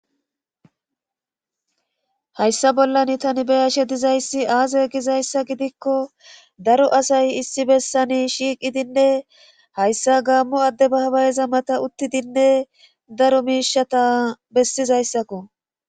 hayssa bollan tani beyashe dizayssi aaza gizayssa gidikko daro asay issi bessani shiiqidinne hayssa gaammo adde baabayeza mata uttidinne daro miishata bessizayssakko